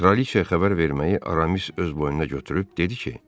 Kraliçaya xəbər verməyi Aramis öz boynuna götürüb dedi ki,